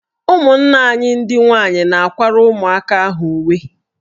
Ụmụnna anyị ndị nwaanyị na-akwara ụmụaka ahụ uwe.